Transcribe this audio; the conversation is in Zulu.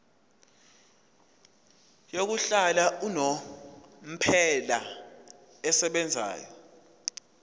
yokuhlala unomphela esebenzayo